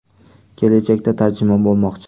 Kelajakda tarjimon bo‘lmoqchi.